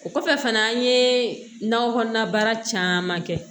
O kɔfɛ fana an ye nakɔ kɔnɔna baara caman kɛ